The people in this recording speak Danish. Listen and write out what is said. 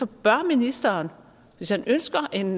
bør ministeren hvis han ønsker en